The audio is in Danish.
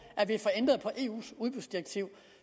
at vi får ændret på eus udbudsdirektiv